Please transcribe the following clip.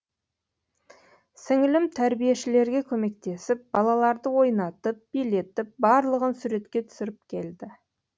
сіңілім тәрбиешілерге көмектесіп балаларды ойнатып билетіп барлығын суретке түсіріп келді